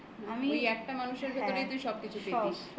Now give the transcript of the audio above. ওই একটা মানুষের ভেতরেই তুই সব কিছু পেতিস